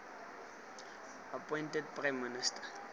appointed prime minister